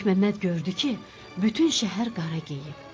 Məlikməmməd gördü ki, bütün şəhər qara geyib.